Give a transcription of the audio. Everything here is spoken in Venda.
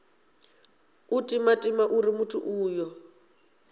u timatima uri muthu uyo